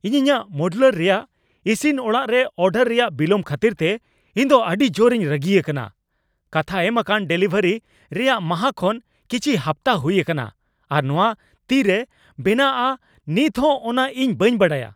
ᱤᱧ ᱤᱧᱟᱹᱜ ᱢᱳᱰᱩᱞᱟᱨ ᱨᱮᱭᱟᱜ ᱤᱥᱤᱱ ᱚᱲᱟᱜ ᱨᱮ ᱚᱰᱟᱨ ᱨᱮᱭᱟᱜ ᱵᱤᱞᱚᱢ ᱠᱷᱟᱹᱛᱤᱨᱛᱮ ᱤᱧ ᱫᱚ ᱟᱹᱰᱤ ᱡᱳᱨ ᱤᱧ ᱨᱟᱹᱜᱤ ᱟᱠᱟᱱᱟ ᱾ ᱠᱟᱛᱷᱟ ᱮᱢᱟᱠᱟᱱ ᱰᱮᱞᱤᱵᱷᱟᱨᱤ ᱨᱮᱭᱟᱜ ᱢᱟᱦᱟ ᱠᱷᱚᱱ ᱠᱤᱪᱷᱤ ᱦᱟᱯᱛᱟ ᱦᱩᱭ ᱟᱠᱟᱱᱟ, ᱟᱨ ᱱᱚᱣᱟ ᱛᱤᱨᱮ ᱵᱮᱱᱟᱜᱼᱟ ᱱᱤᱛ ᱦᱚᱸ ᱚᱱᱟ ᱤᱧ ᱵᱟᱹᱧ ᱵᱟᱰᱟᱭᱟ ᱾